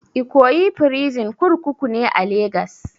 Ikoyi prison kurkuku ne a legas